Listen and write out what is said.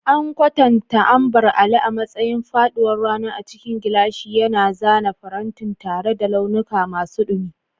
An kwatanta Ambar Alli a matsayin faɗuwar rana a cikin gilashi, yana zana farantin tare da launuka masu dumi.